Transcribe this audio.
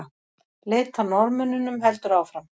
Leit að Norðmönnunum heldur áfram